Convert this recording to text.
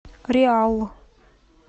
реалъ